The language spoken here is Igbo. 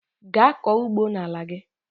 Gaa kọọ ugbo n'ala gị!